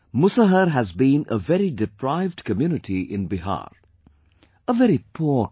Musahar has been a very deprived community in Bihar; a very poor community